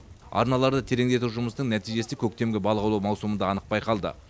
арналарды тереңдету жұмысының нәтижесі көктемгі балық аулау маусымында анық байқалды